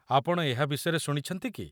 ଆପଣ ଏହା ବିଷୟରେ ଶୁଣିଛନ୍ତି କି?